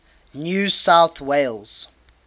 new south wales